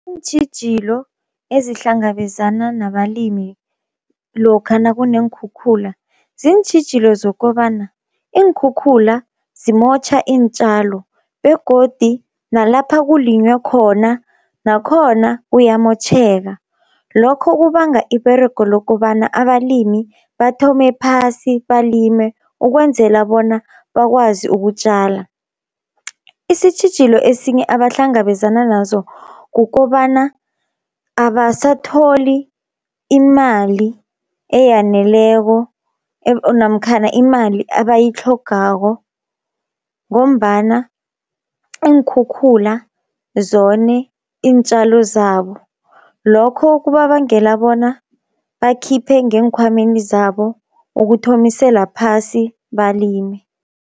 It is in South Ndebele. Iintjhijilo ezihlangabezana nabalimi lokha nakuneenkhukhula. Ziintjhijilo zokobana iinkhukhula zimotjha iintjalo, begodi nalapha kulinywe khona nakhona kuyamotjheka lokho kubanga iberego lokobana abalimi bathome phasi balime, ukwenzela bona bakwazi ukutjala. Isitjhijilo esinye abahlangabezana nazo kukobana abasatholi imali eyaneleko namkhana imali abayitlhogako, ngombana iinkhukhula zone iintjalo zabo, lokho kubabangela bona bakhiphe ngeenkhwameni zabo ukuthomisela phasi balime.